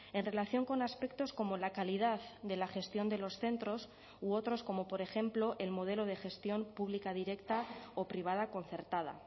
en relación con aspectos como la calidad de la gestión de los centros u otros como por ejemplo el modelo de gestión pública directa o privada concertada